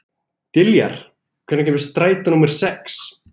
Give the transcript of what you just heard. Diljar, hvenær kemur strætó númer sex?